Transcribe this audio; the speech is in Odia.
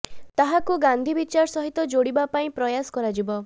ତାହାକୁ ଗାନ୍ଧୀ ବିଚାର ସହିତ ଯୋଡ଼ିବା ପାଇଁ ପ୍ରୟାସ କରାଯିବ